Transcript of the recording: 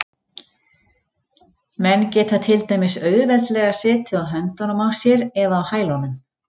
Menn geta til dæmis auðveldlega setið á höndunum á sér eða á hælunum.